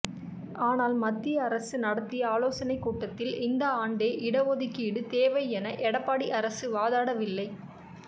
ஆனால் மத்திய அரசு நடத்திய ஆலோசனைக் கூட்டத்தில் இந்த ஆண்டே இடஒதுக்கீடு தேவை என எடப்பாடி அரசு வாதாடவில்லை